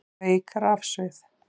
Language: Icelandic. Veik rafsvið